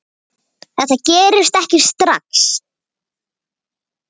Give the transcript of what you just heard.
Hersir: Þetta gerist ekki strax?